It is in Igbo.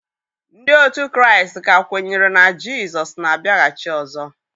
Ndị òtù Kraịst ka kwenyere na Jizọs na-abịaghachi ọzọ.